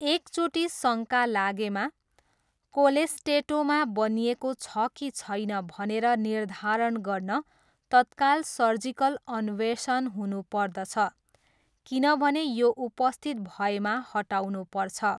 एकचोटि शङ्का लागेमा, कोलेस्टेटोमा बनिएको छ कि छैन भनेर निर्धारण गर्न तत्काल सर्जिकल अन्वेषण हुनुपर्दछ किनभने यो उपस्थित भएमा हटाउनुपर्छ।